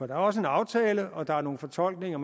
der er også en aftale og der er nogle fortolkninger